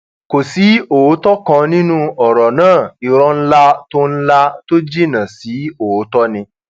kò sí òótọ kan nínú ọrọ náà ìrò ńlá tó ńlá tó jinná sí òótọ ni